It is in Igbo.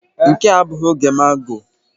Nke a abụghị oge magọ.